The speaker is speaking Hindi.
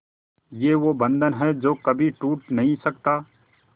ये वो बंधन है जो कभी टूट नही सकता